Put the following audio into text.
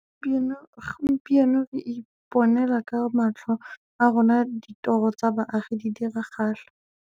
Gompieno re iponela ka matlho a rona ditoro tsa baagi di diragala.